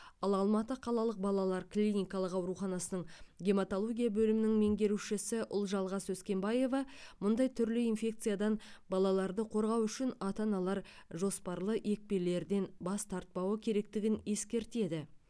ал алматы қалалық балалар клиникалық ауруханасының гематология бөлімінің меңгерушісі ұлжалғас өскенбаева мұндай түрлі инфекциядан балаларды қорғау үшін ата аналар жоспарлы екпелерден бас тартпауы керектігін ескертеді